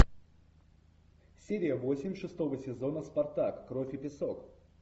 серия восемь шестого сезона спартак кровь и песок